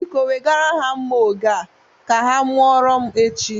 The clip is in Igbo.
Biko, wegara ha nma oge a ka ha mụoro m echi.